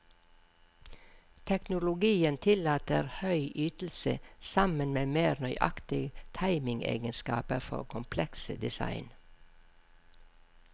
Teknologien tillater høy ytelse sammen med mer nøyaktig timingegenskaper for komplekse design.